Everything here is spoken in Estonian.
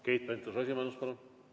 Keit Pentus-Rosimannus, palun!